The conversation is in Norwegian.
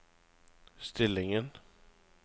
stillingen